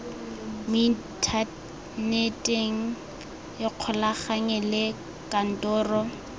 mo inthaneteng ikgolaganye le kantoro